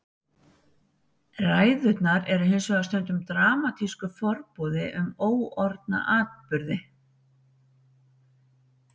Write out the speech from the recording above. Ræðurnar eru hins vegar stundum dramatískur forboði um óorðna atburði.